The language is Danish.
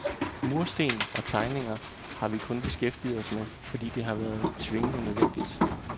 Mursten og tegninger har vi kun beskæftiget os med, fordi det har været tvingende nødvendigt.